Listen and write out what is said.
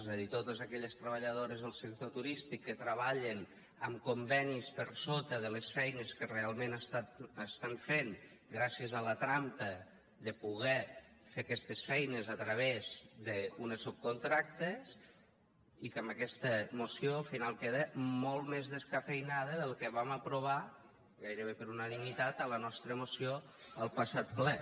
és a dir totes aquelles treballadores del sector turístic que treballen amb convenis per sota de les feines que realment fan gràcies a la trampa de poder fer aquestes feines a través d’uns subcontractes i que en aquesta moció al final queda molt més descafeïnada del que vam aprovar gairebé per unanimitat a la nostra moció al passat ple